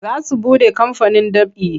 Za su buɗe kamfanin ɗab'i.